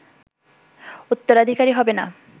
উত্তরাধিকারী হবেনা